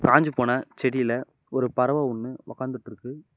காஞ்சி போன செடியில ஒரு பறவ ஒன்னு ஒக்காந்துட்டு இருக்கு.